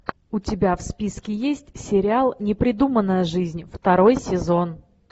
у тебя в списке есть сериал непридуманная жизнь второй сезон